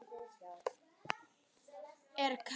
Er Katrín sammála því?